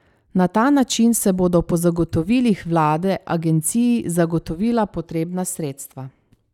Na ta način se bodo po zagotovilih vlade agenciji zagotovila potrebna sredstva.